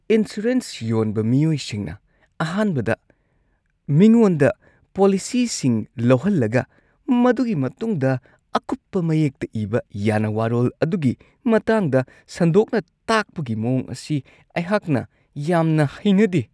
Insurance ꯌꯣꯟꯕ ꯃꯤꯑꯣꯏꯁꯤꯡꯅ ꯑꯍꯥꯟꯕꯗ ꯃꯤꯉꯣꯟꯗ ꯄꯣꯂꯤꯁꯤꯁꯤꯡ ꯂꯧꯍꯜꯂꯒ ꯃꯗꯨꯒꯤ ꯃꯇꯨꯡꯗ ꯑꯀꯨꯞꯄ ꯃꯌꯦꯛꯇ ꯏꯕ ꯌꯥꯅ ꯋꯥꯔꯣꯜ ꯑꯗꯨꯒꯤ ꯃꯇꯥꯡꯗ ꯁꯟꯗꯣꯛꯅ ꯇꯥꯛꯄꯒꯤ ꯃꯋꯣꯡ ꯑꯁꯤ ꯑꯩꯍꯥꯛꯅ ꯌꯥꯝꯅ ꯍꯩꯅꯗꯦ ꯫